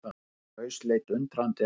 Herra Klaus leit undrandi á hann.